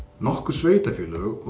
nokkur sveitafélög og